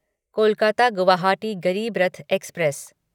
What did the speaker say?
Kolkata Guwahati Garib Rath express